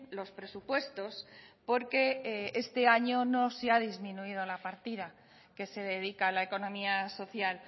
los presupuestos porque este año no se ha disminuido la partida que se dedica a la economía social